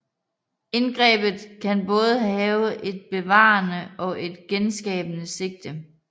Indgrebet kan både have et bevarende og et genskabende sigte